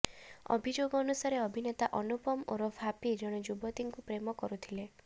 ଅଭିଯୋଗ ଅନୁସାରେ ଅଭିନେତା ଅନୁପମ ଓରଫ ହାପି ଜଣେ ଯୁବତୀଙ୍କୁୁ ପ୍ରେମ କରୁଥିଲେ